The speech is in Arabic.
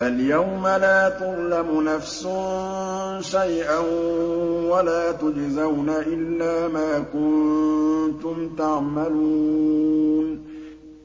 فَالْيَوْمَ لَا تُظْلَمُ نَفْسٌ شَيْئًا وَلَا تُجْزَوْنَ إِلَّا مَا كُنتُمْ تَعْمَلُونَ